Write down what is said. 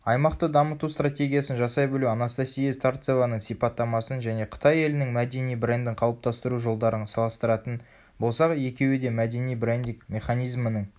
аймақты дамыту стратегиясын жасай білу анастасия старцеваның сипаттамасын және қытай елінің мәдени брендін қалыптастыру жолдарын салыстыратын болсақ екеуі де мәдени брендинг механизмінің